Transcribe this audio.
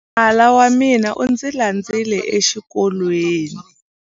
Nala wa mina u ndzi landzile exikolweni.